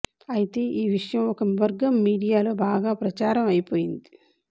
అయితే ఈ విషయం ఒక వర్గం మీడియాలో బాగా ప్రచారం అయిపోయింది